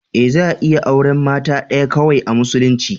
Eh za a iya auren mata ɗaya kawai a musulunci.